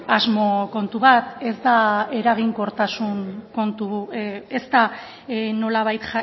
asmo kontu bat ez da nolabait